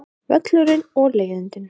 Völlurinn og leiðindin.